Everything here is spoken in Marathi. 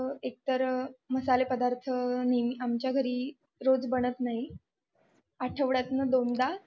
एक तर मसाले पदार्थ नेहमी आमच्या घरी रोज बनत नाही आठवड्यातनं दोनदा